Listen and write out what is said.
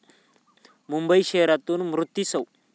मुंबई शहरातून मूर्ती सौ.